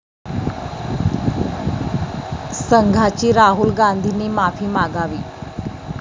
संघाची राहुल गांधींनी माफी मागावी